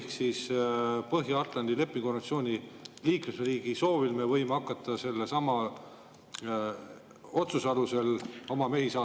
Kas siis Põhja-Atlandi Lepingu Organisatsiooni liikmesriigi soovil me võime hakata selle otsuse alusel oma mehi saatma?